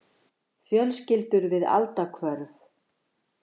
Fjölskyldur við aldahvörf.